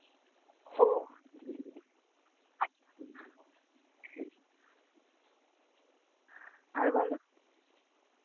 ও আর বলো